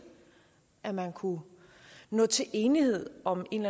at man kunne nå til enighed om en